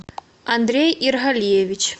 андрей иргалиевич